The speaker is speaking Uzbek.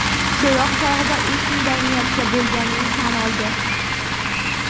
So‘roq chog‘ida u shunday niyatda bo‘lganini tan oldi.